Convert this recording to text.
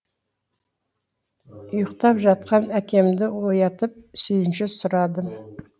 ұйықтап жатқан әкемді оятып сүйінші сұрадым